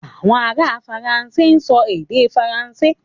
Àwọn ará Faransé ń sọ èdè Faransé.